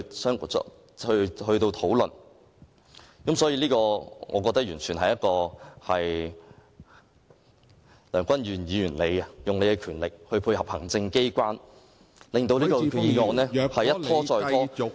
所以，我認為這完全是梁君彥議員利用自己的權力來配合行政機關，把這項擬議決議案一再拖延。